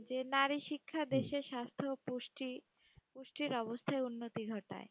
যে নারী শিক্ষা দেশের স্বাস্থ্য ও পুষ্টি, পুষ্টির অবস্থায় উন্নতি ঘটায়।